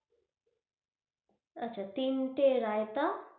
আচ্ছা তিন টা রায়তা,